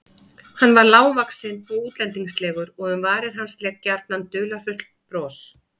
Hann var lágvaxinn og útlendingslegur og um varir hans lék gjarnan dularfullt bros.